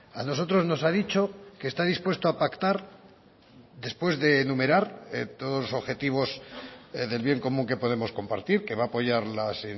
a nosotros nos ha dicho que está dispuesto a pactar después de enumerar todos los objetivos del bien común que podemos compartir que va a apoyar las